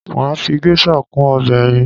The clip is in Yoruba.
Mà á fi geisha kún ọbẹ̀ ẹyin